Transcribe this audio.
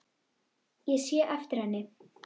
Ég sé eftir henni.